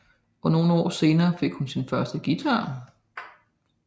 Og nogle år senere fik hun sin første guitar